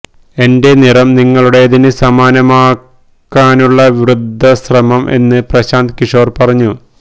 എന്റെ നിറം നിങ്ങളുടേതിന് സമാനമാക്കാനുള്ള വൃഥാ ശ്രമം എന്ന് പ്രശാന്ത് കിഷോര് പറഞ്ഞു